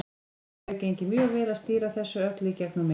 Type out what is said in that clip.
Það hefur gengið mjög vel að stýra þessu öllu í gegnum mig.